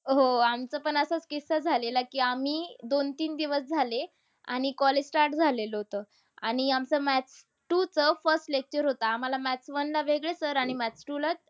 हो. आमचा पण असाच किस्सा झालेला की आम्ही दोन-तीन दिवस झाले आणि college start झालेलं होतं. आणि आमचं maths two च first lecture होतं. आम्हाला maths one ला वेगळे sir आणि maths two ला